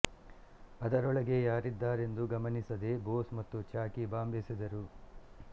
ಅದರೊಳಗೆ ಯಾರಿದ್ದಾರೆಂದು ಗಮನಿಸದೆ ಬೋಸ್ ಮತ್ತು ಚಾಕಿ ಬಾಂಬ್ ಎಸೆದರು